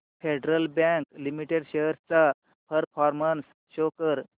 federal bank limited shares चा performance show कर